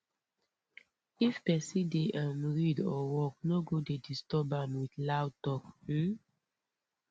if pesin dey um read or work no go go dey disturb am with loud talk um